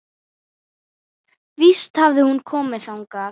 Víst hafði hún komið þangað.